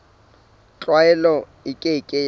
tlwaelo e ke ke ya